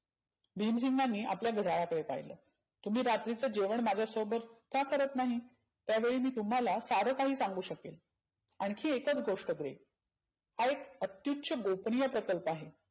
भिमसिंगांनी आपल्या घड्याळाकडे पाहिलं. तुम्ही रात्रीच जेवण माझ्यासोबत का करत नाही? त्यावेळी मी तुम्हाला सारंं काही सांगु शकेन आनखी एकच गोष्ट करेन. हा एक अतिशय गोपनीय प्रकल्प आहे.